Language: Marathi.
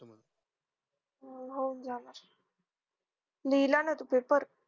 हो का लिहिलानायस paper